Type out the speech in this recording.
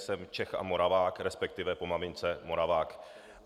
Jsem Čech a Moravák, respektive po mamince Moravák.